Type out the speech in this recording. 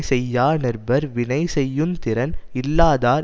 செய்யா நிற்பர் வினை செய்யுந் திறன் இல்லாதார்